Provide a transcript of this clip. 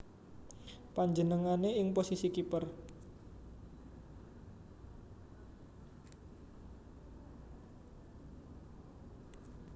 Panjenengané ing posisi kiper